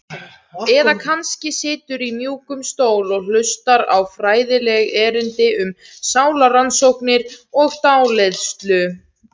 Eða kannski siturðu í mjúkum stól og hlustar á fræðileg erindi um sálarrannsóknir og dáleiðslu.